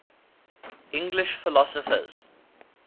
english philosophers